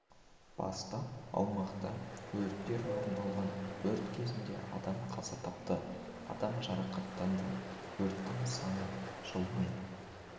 бастап аумақта өрттер орын алған өрт кезінде адам қаза тапты адам жарақаттанды өрттердің саны жылмен